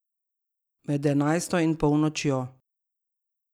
Med enajsto in polnočjo.